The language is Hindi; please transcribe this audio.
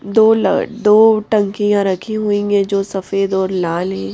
दो ल दो टंकियां रखी हुई हैं जो सफेद और लाल हैं ।